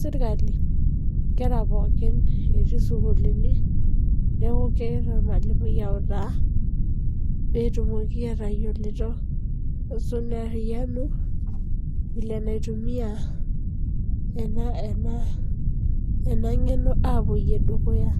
serkali isukuulini pooki. Neaku kegira ormalimui autaa enaiko peyie eariyianu. Netum engeno nepuo dukuya